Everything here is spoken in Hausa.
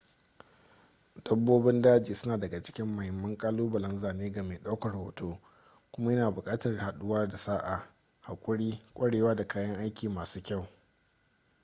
dabbobin daji suna daga cikin mahimman ƙalubalen zane ga mai ɗaukar hoto kuma yana buƙatar haɗuwa da sa'a haƙuri kwarewa da kayan aiki masu kyau